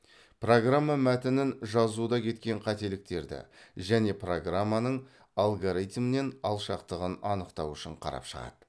программа мәтінін жазуда кеткен қателіктерді және программаның алгоритмнен алшақтығын анықтау үшін қарап шығады